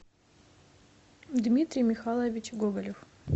дмитрий михайлович гоголев